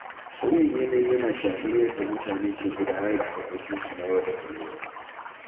Sauyin yanayi yana shafar yadda mutane ke gudanar da harkokinsu na yau da kullum.